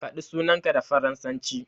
Faɗi sunanka da faransanci.